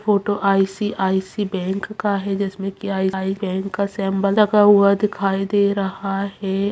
Photo ICICI. Bank का हैं जिसमें की आई आई बैंक का सेम्बल लगा हुआ दिखाई दे रहा है।